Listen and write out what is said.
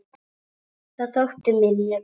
Það þótti mér mjög gaman.